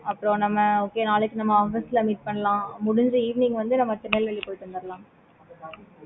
அப்பறம் நம்ம நாளைக்கு office ல meet பண்ணலாம். முடிஞ்சா evening வந்து திருநெல்வேலிக்கு போயிட்டு வந்துரலாம்.